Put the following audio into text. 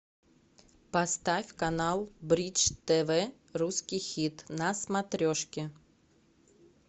поставь канал бридж тв русский хит на смотрешке